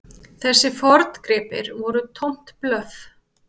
Þessir forngripir voru tómt blöff.